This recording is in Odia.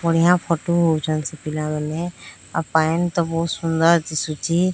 ବଡ଼ିଆ ଫୋଟୋ ନଉଛନ୍ତି ସେ ପିଲା ମାନେ ଆଉ ପାଣି ତ ବହୁତ ସୁନ୍ଦର ଦିଶୁଚି।